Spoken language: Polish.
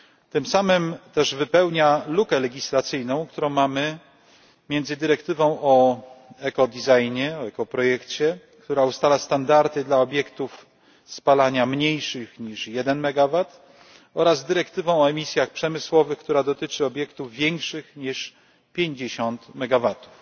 Tym samym też wypełnia lukę legislacyjną, którą mamy między dyrektywą o eko dizajnie, o eko projekcie, która ustala standardy dla obiektów spalania mniejszych niż 1MW oraz dyrektywą o emisjach przemysłowych, która dotyczy obiektów większych niż 50MW.